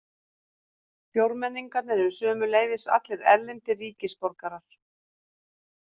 Fjórmenningarnir eru sömuleiðis allir erlendir ríkisborgarar